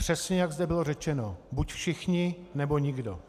Přesně jak zde bylo řečeno: buď všichni, nebo nikdo.